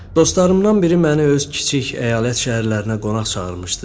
Dostlarımdan biri məni öz kiçik əyalət şəhərlərinə qonaq çağırmışdı.